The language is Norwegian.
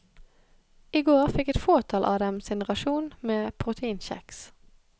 I går fikk et fåtall av dem sin rasjon med proteinkjeks.